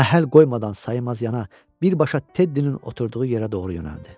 Məhəl qoymadan saymazcana birbaşa Teddinin oturduğu yerə doğru yönəldi.